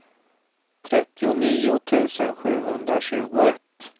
trettionio tusen sjuhundratjugoett